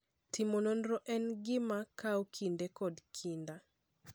Timo nonro en gima kawo kinde kod kinda.